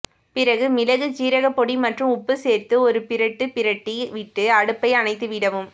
பிறகு மிளகு சீரகப்பொடி மற்றும் உப்பு சேர்த்து ஒரு பிரட்டு பிரட்டி விட்டு அடுப்பை அணைத்து விடவும்